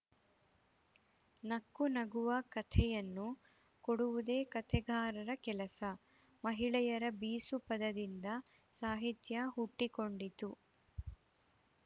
ನಕ್ಕು ನಗುವ ಕಥೆಯನ್ನು ಕೊಡುವುದೇ ಕಥೆಗಾರರ ಕೆಲಸ ಮಹಿಳೆಯರ ಬೀಸು ಪದದಿಂದ ಸಾಹಿತ್ಯ ಹುಟ್ಟಿಕೊಂಡಿತು